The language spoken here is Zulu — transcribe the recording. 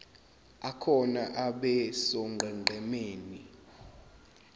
akhona abe sonqenqemeni